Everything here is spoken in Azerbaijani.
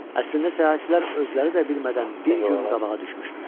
Əslində səyahətçilər özləri də bilmədən bir gün qabağa düşmüşdülər.